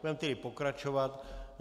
Budeme tedy pokračovat.